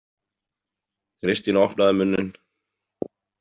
Kristín opnaði munninn.